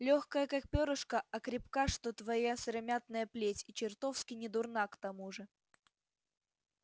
лёгкая как пёрышко а крепка что твоя сыромятная плеть и чертовски недурна к тому же